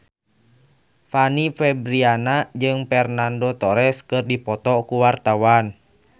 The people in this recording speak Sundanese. Fanny Fabriana jeung Fernando Torres keur dipoto ku wartawan